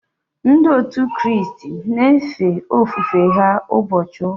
Ndị òtù Kristi na efe ofufe ha ụbọchị ụka